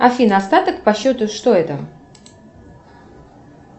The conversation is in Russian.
афина остаток по счету что это